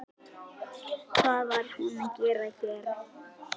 Hvað var hún að gera hér?